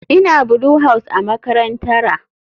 Ina Blue house a makarantara.